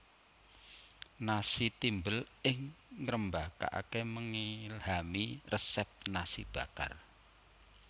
Nasi timbel ing ngerembakake mengilhami resep nasi bakar